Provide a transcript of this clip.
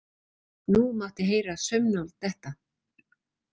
Nú mátti heyra saumnál detta.